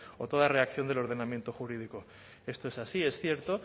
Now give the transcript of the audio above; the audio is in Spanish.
o toda reacción del ordenamiento jurídico esto es así es cierto